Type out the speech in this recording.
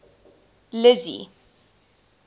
lizzy